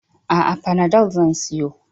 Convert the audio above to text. A'a, fanadol zan siyo.